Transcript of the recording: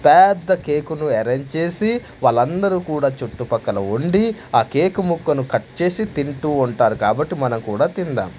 పెద్ద కేక్ ను అరేంజ్ చేసి వాళ్ళందరూ కూడా చుట్టుపక్కల ఉండి ఆ కేకు ముక్కను కట్ చేసి తింటూ ఉంటారు కాబట్టి మనం కూడా తిందాం.